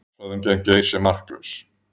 Málshöfðun gegn Geir sé marklaus